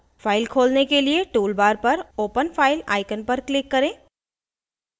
file खोलने के लिए tool bar पर open file icon पर click करें